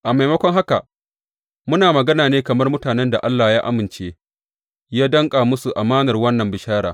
A maimako haka, muna magana ne kamar mutanen da Allah ya amince yă danƙa musu amanar wannan bishara.